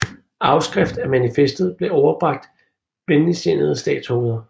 Afskrift af manifestet blev overbragt venligtsindede statsoverhoveder